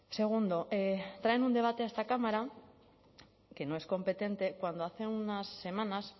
segundo traen un debate a esta cámara que no es competente cuando hace unas semanas